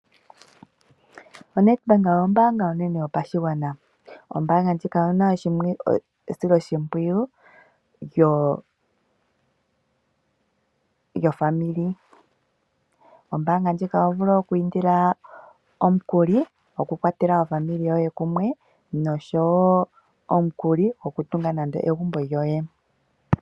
ONEDBANK ombaanga onene yopashigwana. Ombaanga ndjika oyi na esiloshimpwiyu lyoofamili. Koombaanga ndjika oho vulu oku indila omukuli gwoku kwathela ofamili yoye noshowo omukuli gwoku tunga egumbo lyoye.